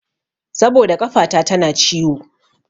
Saboda ƙafata tana ciwo.